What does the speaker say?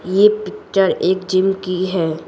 ये पिक्चर एक जिम की है।